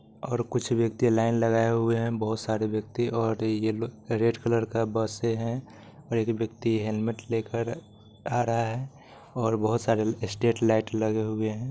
और कुछ व्यक्ति लाइन लगाए हुए हैं बहुत सारे व्यक्ति और अ यह लोग रेड कलर का बसे है एक व्यक्ति हेलमेट लेकर आ रहा है और बहुत सारे स्ट्रेट लाइट लगे हुए है।